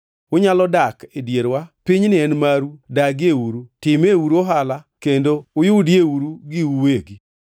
Unyalo dak e dierwa; pinyni en maru dagieuru, timeuru ohala kendo uyudieuru giu uwegi.”